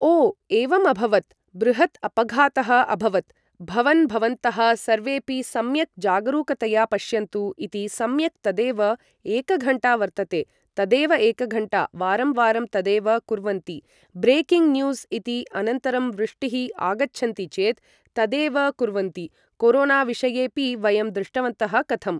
ओ एवम् अभवत् बृहत् अपघातः अभवत् भवन् भवन्तः सर्वेपि सम्यक् जागरुकतया पश्यन्तु इति सम्यक् तदेव एक घण्टा वर्तते तदेव एक घण्टा वारं वारं तदेव कुर्वन्ति ब्रेकिङ्ग न्युज़् इति अनन्तरं वृष्टिः आगच्छन्ति चेत् तदेव कुर्वन्ति कोरोनाविषयेपि वयं दृष्टवन्तः कथं